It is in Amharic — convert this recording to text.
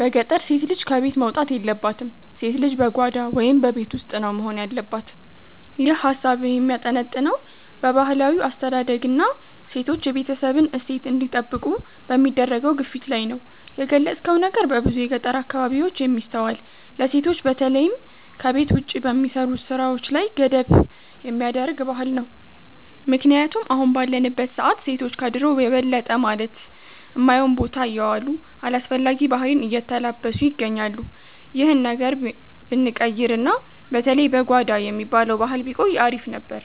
በገጠር ሴት ልጅ ከቤት መውጣት የለባትም፣ ሴት ልጅ በጓዳ (በቤት ውስጥ) ነው መሆን ያለባት። ይህ ሃሳብህ የሚያጠነጥነው በባህላዊ አስተዳደግና ሴቶች የቤተሰብን እሴት እንዲጠብቁ በሚደረገው ግፊት ላይ ነው። የገለጽከው ነገር በብዙ የገጠር አካባቢዎች የሚስተዋል፣ ለሴቶች በተለይም ከቤት ውጭ በሚሰሩ ስራዎች ላይ ገደብ የሚያደርግ ባህል ነው። ምክንያቱም አሁን ባለንበት ሰዓት ሴቶች ከድሮው የበለጠ ማለት ማዮን ቦታ የዋሉ፣ አላስፈላጊ ባህሪን የተላበሱ ይገኛሉ። ይህ ነገር ብንቀይርና በተለይ "በጓዳ" የሚባለው ባህል ቢቆይ አሪፍ ነበር።